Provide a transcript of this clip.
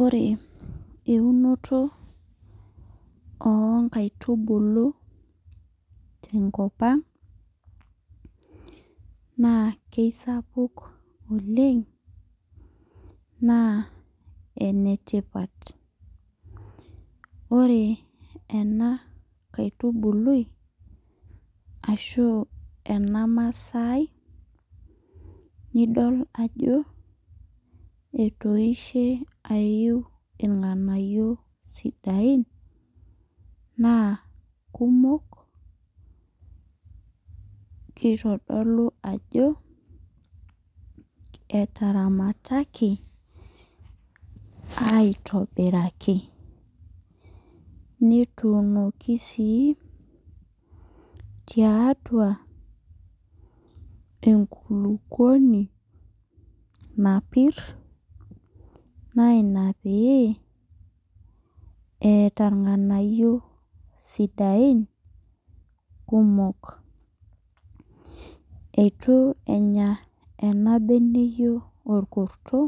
Ore eunoto oo nkaitubulu tenakop ang, naa sapuk oleng naa enetipat sii. Ore ena aitubului ashuu ena masaai nidol ajo etoishe aiu ilganganayio sidai naa kumok eitodolu ajo etaramataki aitobiraki. Netuunoki sii tiatua ekulupuoni napir naa ina peyie eeta ilganayio sidain kumok. Eitu enya ena beneyio orkurto